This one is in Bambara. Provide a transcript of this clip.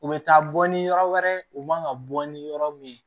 U bɛ taa bɔ ni yɔrɔ wɛrɛ ye u man ka bɔ ni yɔrɔ min ye